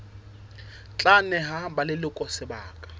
tla neha ba leloko sebaka